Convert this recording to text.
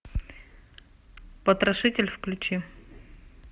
потрошитель включи